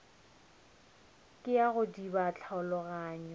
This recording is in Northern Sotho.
ke ya go diba tlhaologanyo